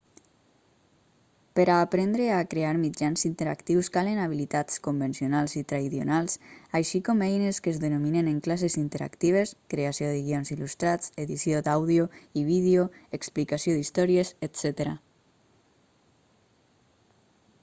per a aprendre a crear mitjans interactius calen habilitats convencionals i traidionals així com eines que es dominen en classes interactives creació de guions il·lustrats edició d'àudio i vídeo explicació d'històries etc.